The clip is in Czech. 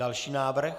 Další návrh.